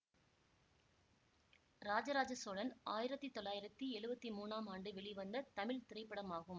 ராஜா ராஜ சோழன் ஆயிரத்தி தொள்ளாயிரத்தி எழுவத்தி மூனாம் ஆண்டு வெளிவந்த தமிழ் திரைப்படமாகும்